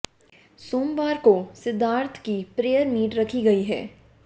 सोमवार को सिद्धार्थ की प्रेयर मीट रखी गई है